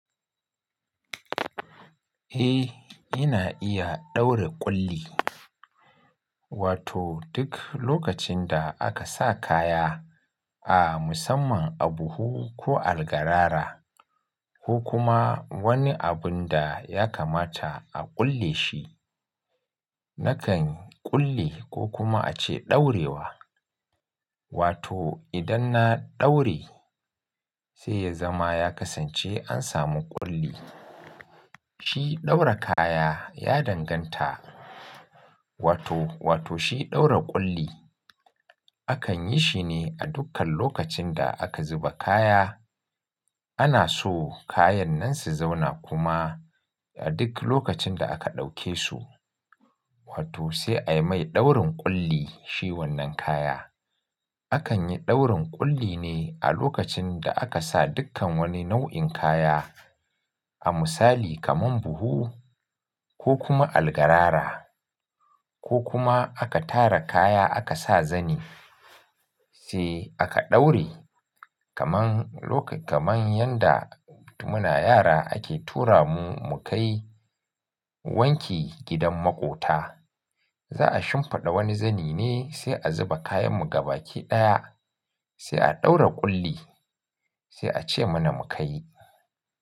Eh, ina iya ɗaura ƙulli. Wato duk lokacin da aka sa kaya a musamman a buhu ko algarara ko kuma wani abun da ya kamata a ƙulle shi, nakan ƙulle ko kuma a ce ɗaurewa. Wato idan na ɗaure sai ya zama ya kasance an samu ƙulli. Shi ɗaura kaya ya danganta. Wato, wato shi ɗaura ƙulli. Akan yi shi ne a dukkan lokacin da aka zuba kaya. Ana so kayan nan su zauna kuma a duk lokacin da aka ɗauke su. Wato sai ai mai ɗaurin ƙulli shi wannan kaya. Akan yi ɗaurin ƙulli ne a lokacin da aka sa dukkan wani nau'in kaya. A misali kamar buhu ko kuma algarara ko kuma aka tara kaya aka sa zani sai aka ɗaure. Kaman, lok-- kaman yanda mu na yara ake tura mu, mu kai wanki gidan maƙota. Za'a shimfiɗa wani zani ne sai a zuba kayan mu ga baki ɗaya sai a ɗaura ƙulli sai a ce mana mu kai.